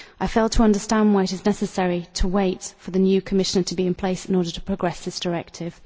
I fail to understand why it is necessary to wait for the new Commissioner to be in place in order to progress this directive.